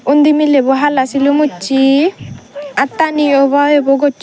undi milebo hala silum ussey attani yo eiboi ubo gosson.